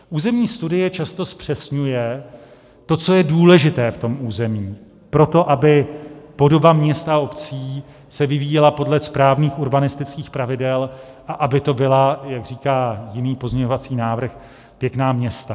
Územní studie často zpřesňuje to, co je důležité v tom území, proto, aby podoba měst a obcí se vyvíjela podle správných urbanistických pravidel a aby to byla, jak říká jiný pozměňovací návrh, pěkná města.